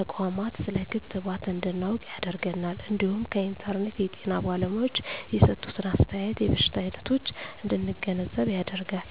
ተቋማት ስለ ክትባት እንድናውቅ ያደርገናል እንዲሁም ከኢንተርኔት የጤና ባለሙያዎች የሰጡትን አስተያየት የበሽታ አይነቶች እንድንገነዘብ ያደርጋል።